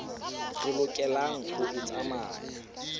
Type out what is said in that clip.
re lokelang ho e tsamaya